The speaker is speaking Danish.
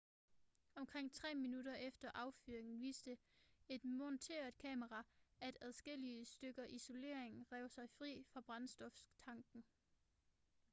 omkring 3 minutter efter affyringen viste et monteret kamera at adskillige stykker isolering rev sig fri fra brændstoftanken